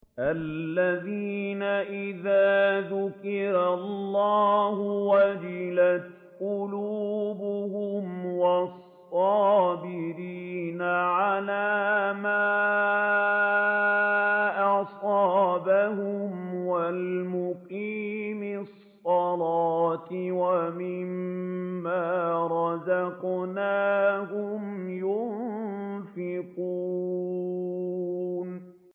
الَّذِينَ إِذَا ذُكِرَ اللَّهُ وَجِلَتْ قُلُوبُهُمْ وَالصَّابِرِينَ عَلَىٰ مَا أَصَابَهُمْ وَالْمُقِيمِي الصَّلَاةِ وَمِمَّا رَزَقْنَاهُمْ يُنفِقُونَ